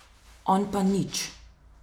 On pa nič.